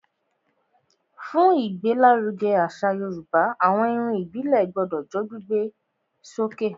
Fún ìgbé l'áruge àṣà yorùbá, àwọn Irun ìbílè gbodò jó gbígbé sókè